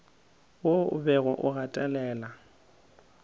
wo o bego o gatelela